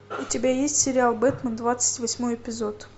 у тебя есть сериал бэтмен двадцать восьмой эпизод